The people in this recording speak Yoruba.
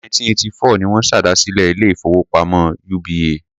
Ọdún 1984 ni wọ́n ṣèdásílẹl ilé-ìfowópamọ́ UBA.